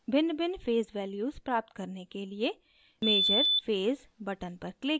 भिन्नभिन्न phase values प्राप्त करने के लिए measure phase button पर click करें